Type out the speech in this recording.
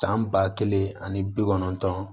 San ba kelen ani bi kɔnɔntɔn